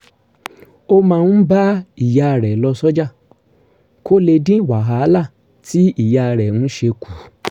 ó máa ń bá ìyá rẹ̀ lọ sọ́jà kó lè dín wàhálà tí ìyá rẹ̀ ń ṣe kù